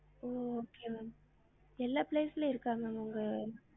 ஒஹ் okay ma'am எல்லா place லையும் இருக்கா ma'am உங்க